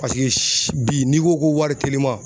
Paseke bi n'i ko ko wari telima.